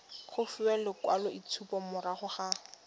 go fiwa lekwaloitshupo morago ga